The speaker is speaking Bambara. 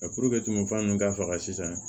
ninnu ka faga sisan